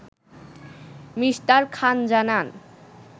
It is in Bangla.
মি. খান জানান